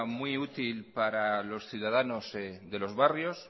muy útil para los ciudadanos de los barrios